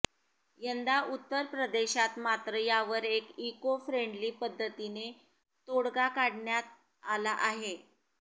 यंदा उत्तरप्रदेशात मात्र यावर एक इको फ्रेंडली पद्धतीने तोडगा काढण्यात आला आहे